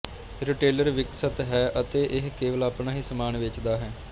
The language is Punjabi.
ਰਿਟੇਲਰ ਵਿਕਸਤ ਹੈ ਅਤੇ ਇਹ ਕੇਵਲ ਆਪਣਾ ਹੀ ਸਮਾਨ ਵੇਚਦਾ ਹੈ